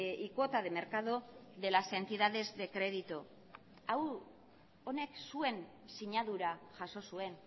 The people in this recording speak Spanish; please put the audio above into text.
y cuota de mercado de las entidades de crédito honek zuen sinadura jaso zuen